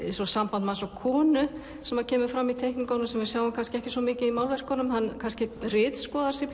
eins og samband manns og konu sem kemur fram í teikningunum sem við sjáum ekki svo mikið í málverkunum hann kannski ritskoðar sig